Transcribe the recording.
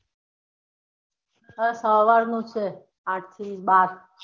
હાં સવાર નું છે આઠ થી બાર.